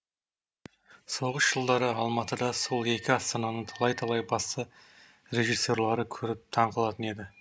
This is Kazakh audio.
соғыс жылдары алматыда сол екі астананың талай талай басты режиссерлары көріп таңқалатын еді